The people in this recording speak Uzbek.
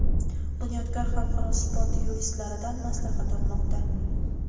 "Bunyodkor" xalqaro sport yuristlaridan maslahat olmoqda.